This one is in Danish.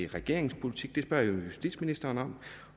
regeringens politik det spørger jeg justitsministeren